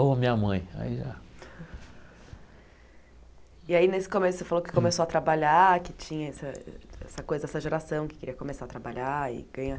Ou a minha mãe, aí já... E aí, nesse começo, você falou que começou a trabalhar, que tinha essa essa coisa, essa geração que queria começar a trabalhar e ganhar.